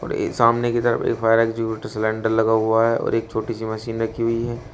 और ये सामने कि तरफ एक फायर एक्टिंग्यूशर सिलेंडर लगा हुआ है और एक छोटी सी मशीन रखी हुई है।